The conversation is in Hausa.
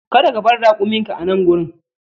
Kada ka bar rakuminka a nan wurin!